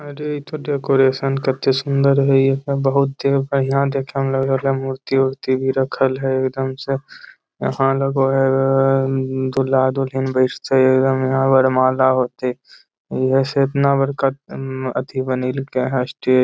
अरे इ ते डेकोरेशन कते सुंदर हेय बहुत ए बढ़िया देखे मे लाग रहले मूर्ति उर्ति भी रखल हेय एकदम से यहां लगो हेय दुल्हा-दुल्हन बैस्ते यहां एकदम से यहां वरमाला होते ऐहे से एतना बड़का बनेल के स्टेज।